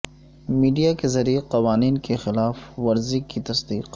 media کے ذریعہ قوانین کی خلاف ورزی کی تصدیق